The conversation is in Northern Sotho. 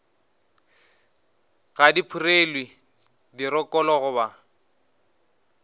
ga di phurelwe dirokolo goba